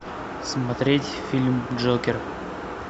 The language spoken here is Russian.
смотреть фильм джокер